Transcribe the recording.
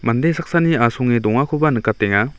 mande saksani asonge dongakoba nikatenga.